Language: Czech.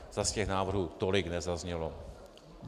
Zas těch návrhů tolik nezaznělo.